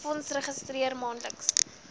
fonds registreer maandelikse